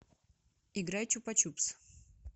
играй чупа чупс